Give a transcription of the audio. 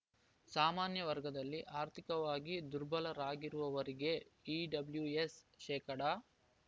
ಸಾಮಾನ್ಯ ವರ್ಗದಲ್ಲಿ ಆರ್ಥಿಕವಾಗಿ ದುರ್ಬಲರಾಗಿರುವವರಿಗೆ ಇಡಬ್ಲ್ಯುಎಸ್ ಶೇಕಡಾ